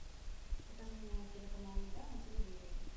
покажи мне телеканал еда на телевизоре